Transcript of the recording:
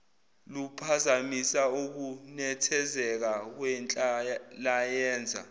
luphazamisa ukunethezeka kwenhlalayenza